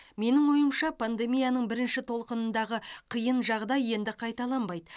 менің ойымша пандемияның бірінші толқынындағы қиын жағдай енді қайталанбайды